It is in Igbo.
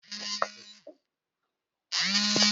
Butere m Shawama ahụ!